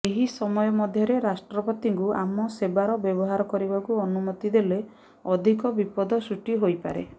ଏହି ସମୟ ମଧ୍ୟରେ ରାଷ୍ଟ୍ରପତିଙ୍କୁ ଆମ ସେବାର ବ୍ୟବହାର କରିବାକୁ ଅନୁମତି ଦେଲେ ଅଧିକ ବିପଦ ସୃଷ୍ଟି ହୋଇପାରେ